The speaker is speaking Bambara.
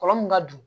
Kɔlɔnlɔ min ka don